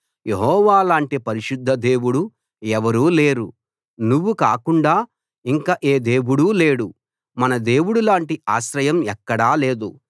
యెహోవా లాంటి పరిశుద్ధ దేవుడు ఎవరూ లేరు నువ్వు కాకుండా ఇంక ఏ దేవుడూ లేడు మన దేవుడిలాంటి ఆశ్రయం ఎక్కడా లేదు